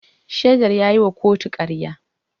Shaidar ya yi wa kotu karya.